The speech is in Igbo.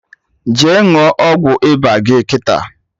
Jee ṅụọ ọgwụ ịba gị kịta!